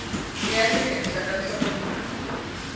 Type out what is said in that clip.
ya le henhla ka nhlokomhaka